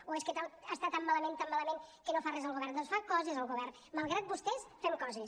o és que està tan malament tan malament que no fa res el govern doncs fa coses el govern malgrat vostès fem coses